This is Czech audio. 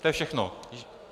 To je všechno.